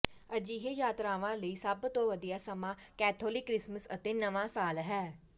ਅਜਿਹੇ ਯਾਤਰਾਵਾਂ ਲਈ ਸਭ ਤੋਂ ਵਧੀਆ ਸਮਾਂ ਕੈਥੋਲਿਕ ਕ੍ਰਿਸਮਸ ਅਤੇ ਨਵਾਂ ਸਾਲ ਹੈ